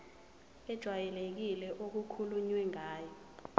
ejwayelekile okukhulunywe ngayo